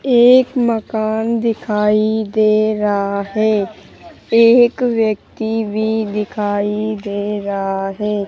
एक मकान दिखाई दे रहा है एक व्यक्ति भी दिखाई दे रहा है।